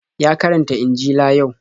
Ya karanta injila yau.